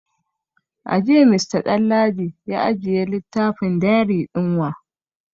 A jiya Mr Danladi ya ajiye littafin diary din wa?